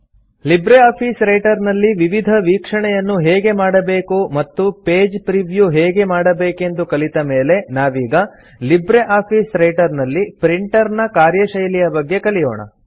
Libre office Writer ನಲ್ಲಿ ವಿವಿಧ ವೀಕ್ಷಣೆಯನ್ನು ಹೇಗೆ ಮಾಡಬೇಕು ಮತ್ತು ಪೇಜ್ ಪ್ರೀವ್ಯೂ ಹೇಗೆ ಮಾಡಬೇಕೆಂದು ಕಲಿತ ಮೇಲೆ ನಾವೀಗ ಲಿಬ್ರೆ ಆಫೀಸ್ ರೈಟರ್ ನಲ್ಲಿ ಪ್ರಿಂಟರ್ ನ ಕಾರ್ಯಶೈಲಿಯ ಬಗ್ಗೆ ಕಲಿಯೋಣ